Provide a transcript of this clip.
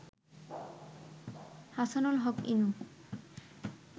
Hasanul Haq Inu